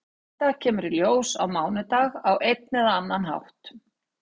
Þetta kemur í ljós á mánudag á einn eða annan hátt.